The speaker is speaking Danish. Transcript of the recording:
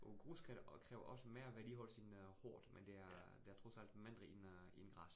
Og grus kræver også mere vedligeholdelse end øh hårdt, men det er det trods alt mindre end øh end græs